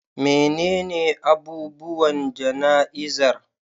Menene abubuwan jana'izar?